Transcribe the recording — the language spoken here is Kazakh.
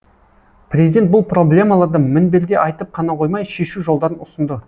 президент бұл проблемаларды мінберде айтып қана қоймай шешу жолдарын ұсынды